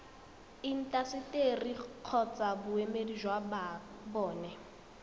intaseteri kgotsa boemedi jwa bona